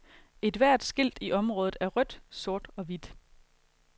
Ethvert skilt i området er rødt, sort og hvidt.